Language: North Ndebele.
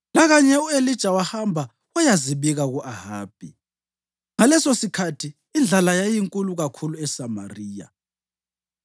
Lakanye u-Elija wahamba wayazibika ku-Ahabi. Ngalesosikhathi indlala yayinkulu kakhulu eSamariya,